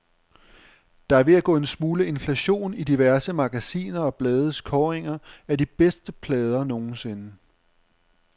Der er ved at gå en smule inflation i diverse magasiner og blades kåringer af de bedste plader nogensinde.